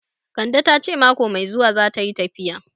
Kande ta ce mako mai zuwa zata yi tafiya